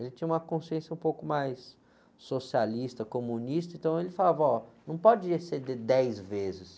Ele tinha uma consciência um pouco mais socialista, comunista, então ele falava, ó, não pode exceder dez vezes.